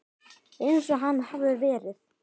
Eins og hann hafði verið.